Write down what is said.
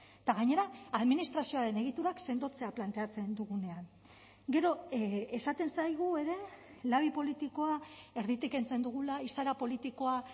eta gainera administrazioaren egiturak sendotzea planteatzen dugunean gero esaten zaigu ere labi politikoa erditik kentzen dugula izaera politikoa